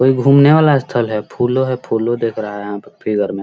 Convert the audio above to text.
कोई घूमने वाला स्थल है। फूलो है फूलो देख रहा है यहाँ पे फिगर में। .